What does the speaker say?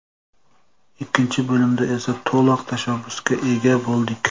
Ikkinchi bo‘limda esa to‘liq tashabbusga ega bo‘ldik.